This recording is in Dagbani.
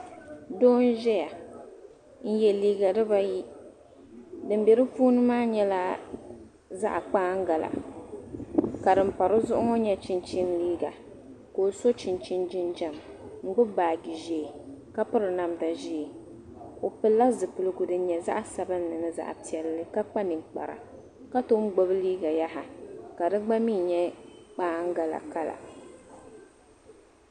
Doo n ʒiya n yɛ liiga dibayi din bɛ di puuni maa nyɛla zaɣ kpaangala ka din pa dizuɣu ŋo nyɛ chinchin liiga ka o so chinchin jinjɛm n gbubi baaji ʒiɛ ka piri namdi ʒiɛ o pilila zipiligu din nyɛ zaɣ sabinli ni zaɣ piɛlli ka kpa ninkpara ka tom gbubi liiga yaha ka digba mii nyɛ kpaangala kala